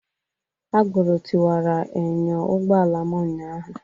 Agboro tiwara enyo ụgbọala m ụnyaahụ